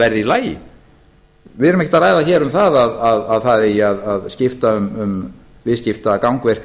verði í lagi við erum ekkert að ræða hér að það eigi að skipta um viðskiptagangverk